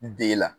Den la